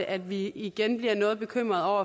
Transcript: at vi igen bliver noget bekymrede